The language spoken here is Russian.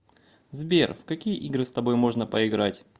сбер в какие игры с тобой можно поиграть